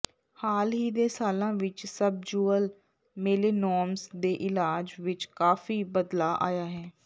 ਹਾਲ ਹੀ ਦੇ ਸਾਲਾਂ ਵਿਚ ਸਬਜੁਅਲ ਮੇਲੇਨੋਮਸ ਦੇ ਇਲਾਜ ਵਿਚ ਕਾਫ਼ੀ ਬਦਲਾਅ ਆਇਆ ਹੈ